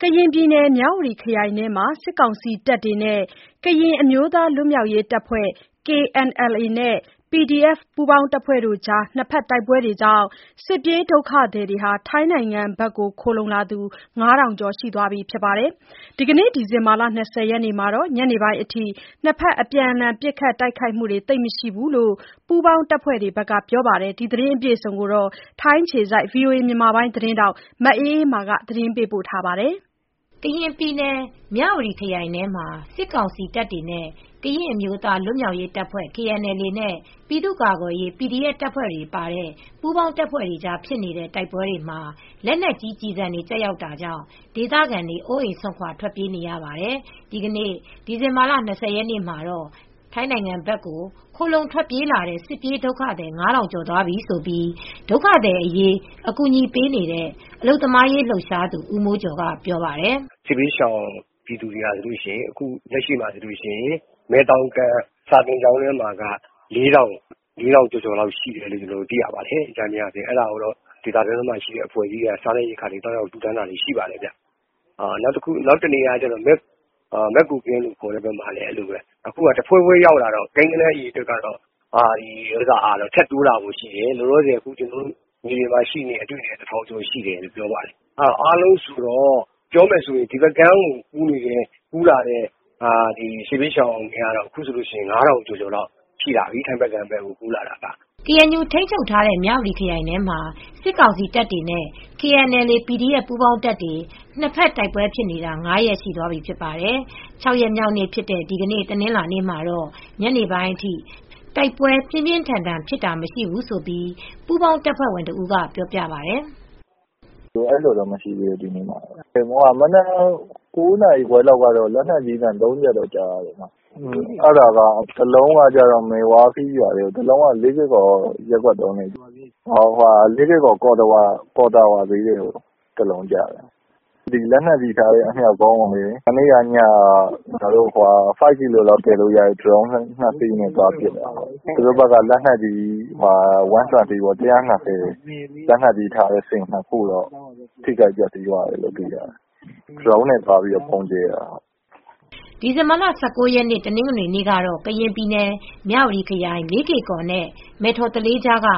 ကရင်ပြည်နယ် မြဝတီခရိုင်ထဲမှာ စစ်ကောင်စီတပ်တွေနဲ့ ကရင်အမျိုးသားလွတ်မြောက်ရေးတပ်ဖွဲ့ KNLA နဲ့ PDF ပူးပေါင်းတပ်တွေကြား နှစ်ဖက်တိုက်ပွဲတွေကြောင့် စစ်ပြေးဒုက္ခသည်တွေ ထိုင်းနိုင်ငံဘက်ကို ခိုလှုံလာသူ ၅ ထောင်ကျော်ရှိသွားပါပြီ။ ဒီကနေ့ ဒီဇင်ဘာ ၂၀ ရက်နေ့မှာတော့ ညနေပိုင်းအထိ ၂ ဘက် အပြန်အလှန် ပစ်ခတ်တိုက်ခိုက်မှု သိပ်မရှိဘူးလို့ ပူးပေါင်းတပ်ဖွဲတွေဘက် ပြောပါတယ်။ဒီသတင်းကို ဗွီအိုအေသတင်းထောက်မအေးမာက တင်ပြပေးထားပါတယ်။ ကရင်ပြည်နယ် မြဝတီခရိုင်ထဲမှာ စစ်ကောင်စီတပ်တွေနဲ့ ကရင်အမျိုးသားလွတ်မြောက်ရေးတပ်ဖွဲ့ KNLA နဲ့ ပြည်သူကာကွယ်ရေး PDF တပ်ဖွဲ့ဝင်တွေပါတဲ့ ပူးပေါင်းတပ်ဖွဲ့တွေကြားဖြစ်နေတဲ့ တိုက်ပွဲတွေမှာ လက်နက်ကြီးကျည်ဆံတွေ ကျရောက်တာကြောင့် ဒေသခံတွေ အိုးအိမ်စွန့်ခွါထွက်ပြေးနေရပါတယ်။ ဒီနေ့ ဒီဇင်ဘာလ၂၀ ရက်နေ့မှာတော့ ထိုင်းနိုင်ငံဘက်ကို ခိုလှုံထွက်ပြေးလာတဲ့ စစ်ပြေးဒုက္ခသည် ၅ ထောင်ကျော်သွားပြီလို့ ဒုက္ခသည်တွေအရေးအကူညီပေးနေတဲ့ အလုပ်သမားရေးလှုပ်ရှားသူဦးမိုးကျော်က ပြောပါတယ်။ “စစ်ဘေးရှောင်ပြည်သူက လက်ရှိမယ်တော်ကမ့် စာသင်ကျောင်းထဲမှာတော့ ၄ ထောင်ကျော်ကျော်လောက်ရှိတယ်။ အကြမ်းဖျင်းပေါ့။ အဲဒါကို ဒေသတွင်း အဖွဲ့အစည်းတွေက အစားသောက်တွေ သွားကူညီနေကြပါတယ်။နောက်တနေရာကတော့ မယ့်ကိုကင်းဘက်မှာရှိတယ်။အခုက တဖွဲဖွဲ ရောက်နေလို့ ကိန်းဂဏန်းကထပ်တိုးလာဖို့ရှိတယ်။ မြေပြင်မှာတင် တထောင်ကျော်လောက်ရှိတယ်။ ပြောမယ်ဆိုရင် ထိုင်းဘက်ကိုကူးလာတဲ့စစ်ဘေးရှောင်ကတော့ ၅ ထောင်ကျော်လောက်ရှိလာပါပြီ။” KNU ထိန်းချုပ်ထားတဲ့ မြဝတီခရိုင်ထဲမှာ စစ်ကောင်စီတပ်တွေနဲ့ KNLA / PDF ပူးပေါင်းတပ်တွေ နှစ်ဘက်တိုက်ပွဲဖြစ်နေတာ ၅ ရက်ရှိသွားပြီဖြစ်ပါတယ်။ ၆ ရက်မြောက်နေ့ ဖြစ်တဲ့ ဒီနေ့ တနင်္လာနေ့မှာတော့ ညနေပိုင်းအထိ တိုက်ပွဲပြင်းပြင်းထန်ထန်ဖြစ်တာမရှိဘူးလို့ ပူးပေါင်းတပ်ဖွဲ့ဝင်တဦးကပြောပြပါတယ်။ “ဒီနေ့မှာတော့မရှိသေးဘူး။ မနက် ၉ နာရီခွဲလောက်က လက်နက်ကြီးသံ ၃ ချက်ကြားရတယ်။ တလုံးက မယ်ဝါခီးဘက်၊ တလုံးက လေးကေ့ကော် ၃ ရပ်ကွက်ကို တလုံးကျတယ်။ လေးကေ့ကော် ကော့သဝါဈေးထဲကိုတလုံးကျတယ်။ လက်နက်ကြီးထားတဲ့အမြှာက်ကုန်းကိုလေ- မနေ့ညက ၅ ကီလိုလောက်တင်လို့ရတဲ့ ဒရုန်းနဲ့ ကျနော်တို့ကသွားပစ်တယ်။ သူတို့ဘက်ကလက်နက်ကြီး ၁၂၀ မမ လက်နက်ကြီးထားတဲ့စင် ထိခိုက်သွားတယ်လို့သိရတယ်။” ဒီဇင်ဘာ ၁၉ရက် တနင်္ဂနွေနေ့ကတော့ ကရင်ပြည်နယ် မြဝတီခရိုင် လေးကေကော်နဲ့ မဲ့ထော်သလေးကြားက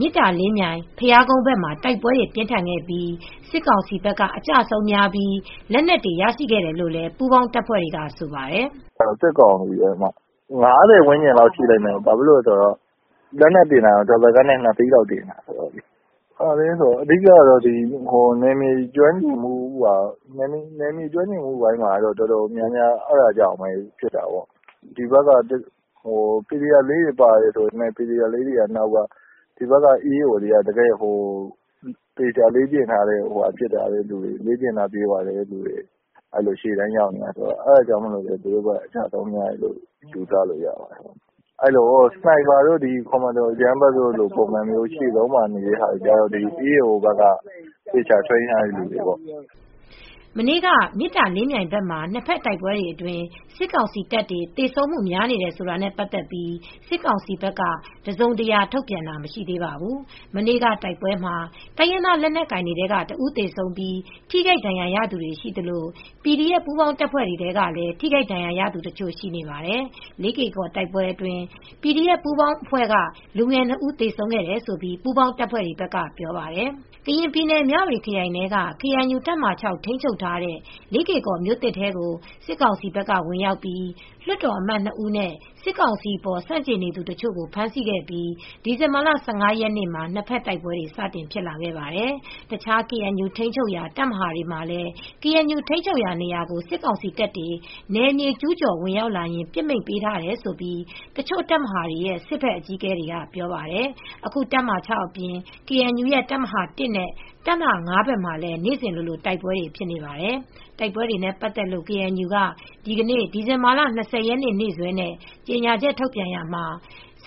မေတ္တာလင်းမြိုင်ဘုရားကုန်းဘက်မှာ တိုက်ပွဲတွေ ပြင်းထန်ခဲ့ပြီး စစ်ကောင်စီဘက်ကအကျအဆုံးများပြီး လက်နက်တွေရရှိခဲ့တယ်လို့လည်း ပူးပေါင်းတပ်ဖွဲ့တွေကဆိုပါတယ်။ “စစ်ကောင်စီဘက်ကကျတာ ၅၀ ဝန်းကျင်လောက်ရှိလိမ့်မယ်။ လက်နက်တွေတင် ရတာကတော့ double cabနဲ့ ၂ စီးလောက်ကိုတင်ရတယ်။ နယ်မြေကျွမ်းကျင်မူကြောင့်လို့ထင်တယ်။ PDF တွေပါတယ်ဆိုပေမယ့် PDF က နောက်ကပါ။ ဒီဘက် EAO တွေက သေချာလေ့ကျင့်ထားတဲ့သူတွေက ရှေ့တန်းရောက်နေကြတာ ။ အဲဒါကြောင့် သူတို့ ဘက်က အကျဆုံးများတယ်လို့ယူဆရတယ်။ စနိုက်ပါတို့၊ ကွန်မန်ဒိုအကြမ်းဖက်တိုက်ဖျက်ရေးလုပ်တဲ့သူတွေကတော့ ဒီဘက်က EAO တွေဘက်က သေချာလေ့ကျင့်ထားတဲ့လူတွေကလုပ်ကြတာပေါ့။” မနေ့က မေတ္တာလင်းမြိုင်ဘက်က နှစ်ဖက်တိုက်ပွဲအတွင်း စစ်ကောင်စီတပ်တွေ သေဆုံးမှု များတယ်ဆိုတာနဲ့ပတ်သက်လို့ စစ်ကောင်စီဘက်က တစုံတရာထုတ်ပြန် တာမရှိသေးပါဘူး။ မနေ့က တိုက်ပွဲမှာ တိုင်းရင်းသားလက်နက်ကိုင်တွေထဲက တဦး သေဆုံးပြီး ထိခိုက်ဒဏ်ရာရသူတွေရှိသလို PDF ပူးပေါင်းတပ်ဖွဲ့ထဲကလည်း ထိခိုက်ဒဏ်ရာရသူတချို့ရှိပါတယ်။ လေးကေ့ကော်တိုက်ပွဲတွေအတွင်း PDF ပူးပေါင်းအဖွဲ့က လူငယ်၂ ဦးသေဆုံးတယ်လို့ ပူးပေါင်းတပ်ဖွဲ့တွေဘက်ကပြောပါတယ်။ ကရင်ပြည်နယ် မြဝတီခရိုင်ထဲက ကေအန်ယူတပ်မဟာ ထိန်းချုပ်ထားတဲ့ လေးကေ့ကော်မြို့သစ်ထဲကို စစ်ကောင်စီဘက်က ဝင်ရောက်ပြီး လွတ်တော်အမတ်၂ ဦးနဲ့ စစ်ကောင်စီအပေါ် ဆန့်ကျင်နေသူတချို့ကိုဖမ်းဆီးခဲ့ပြီး ဒီဇင်ဘာ ၁၅ ရက်မှာနှစ်ဖက်တိုက်ပွဲတွေ စတင်ဖြစ်လာခဲ့ပါတယ်။ တခြား ကေအန်ယူထိမ်းချုပ်ရာနေရာကို စစ်ကောင်စီတပ်တွေ နယ်မြေ ကျူးကျော် ဝင်ရောက်လာရင်ပစ်မိန့်ပေးထားတယ်လို့ တချို့တပ်မဟာတွေရဲ့ စစ်ဘက်အကြီးအကဲတွေက ပြောပါတယ်။အခုတပ်မဟာ ၆ အပြင် ကေအန်ယူရဲ့တပ်မဟာ ၁ နဲ့ တပ်မဟာ ၅ ဘက်မှာလည်း နေစဉ်လိုလို တိုက်ပွဲ ဖြစ်နေပါတယ်။ တိုက်ပွဲတွေနဲ့ပတ်သက်လို့ KNU က ဒီနေ့ ဒီဇင်ဘာ ၂၀ ရက် နေ့စွဲနဲ့ ကြေညာချက်ထုတ်ပြန်တာမှာ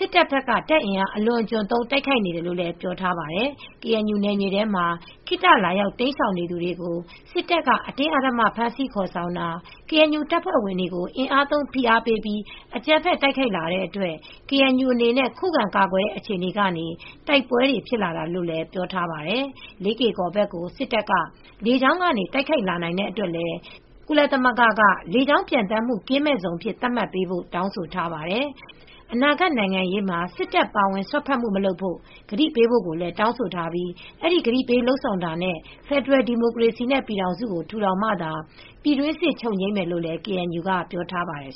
စစ်တပ်ဘက်က တပ်အင်အား အလွန်အကျွံသုံး တိုက်ခိုက်နေတယ်လို့ ပြောထားပါတယ်။ KNU နယ်မြေထဲမှာ ခေတ္တလာရောက် တိမ်းရှောင်နေသူတွေကို စစ်တပ်က အတင်းအဓ္ဓမ ဖမ်းဆီးခေါ်ဆောင်တာ၊ KNU တပ်ဖွဲ့ဝင်တွေကို အင်အားသုံး ဖိအားပေးပြီး အကြမ်းဖက် တိုက်ခိုက်လာတဲ့အတွက် KNU အနေနဲ့ ခုခံကာကွယ်တဲ့အခြေအနေကနေ တိုက်ပွဲတွေ ဖြစ်လာတာဖြစ်တယ်လို့ ပြောထားပါတယ်။ လေးကေကော်ဘက်ကို စစ်တပ်က လေကြောင်းကနေ တိုက်ခိုက်လာနိုင်တဲ့အတွက်လည်း ကုလသမဂ္ဂက လေကြောင်း ပျံသန်းမှုကင်းမဲ့ဇုံ အဖြစ်သတ်မှတ်ပေးဖို့ တောင်းဆိုထားပါတယ်။ အနာဂါတ်နိုင်ငံရေးမှာ စစ်တပ်ပါဝင် စွက်ဖက်မှု မလုပ်ဖို့ ကတိပေးဖို့ တောင်းဆိုထားပြီး အဲဒီကတိပေးလုပ်ဆောင်တာနဲ့ ဖယ်ဒရယ်ဒီမိုကရေစီနဲ့ ပြည်ထောင်စုကို ထူထောင်မှသာ ပြည်တွင်းစစ် ချုပ်ငြိမ်းမယ်လို့ KNU က ပြောကြားထားပါတယ်